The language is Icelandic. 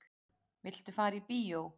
Viltu fara í bíó?